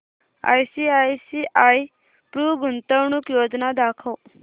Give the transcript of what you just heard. ICICI Pru गुंतवणूक योजना दाखव